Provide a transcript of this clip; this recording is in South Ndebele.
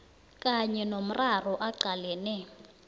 kanye nomraro aqalene